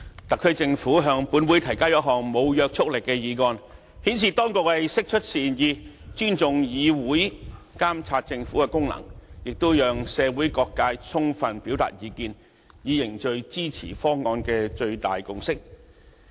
特區政府向立法會提交一項無約束力議案，顯示當局釋出善意，尊重議會監察政府的功能，亦讓社會各界充分表達意見，以凝聚支持方案的最大共識。